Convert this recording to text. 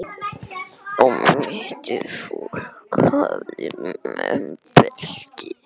Um mittið hafði fólk belti.